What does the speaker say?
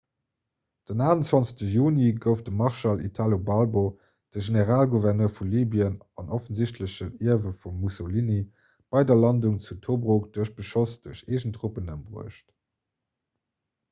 den 28 juni gouf de marschall italo balbo de generalgouverneur vu libyen an offensichtlechen ierwe vum mussolini bei der landung zu tobruk duerch beschoss duerch eegen truppen ëmbruecht